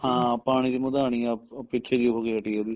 ਹਾਂ ਪਾਣੀ ਚ ਮਦਾਨੀ ਪਿੱਛੇ ਜੇ ਹੋ ਕੇ ਹਟੀ ਏ ਇਹਦੀ